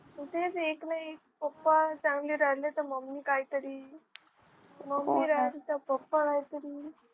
तेच एक ना एक पप्पा चांगले राहिले तर मम्मी काहीतरी मम्मी राहिली तर पप्पा काहीतरी